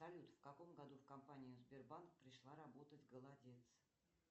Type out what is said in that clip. салют в каком году в компанию сбербанк пришла работать голодец